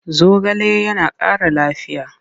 Zogale yana ƙara lafiya.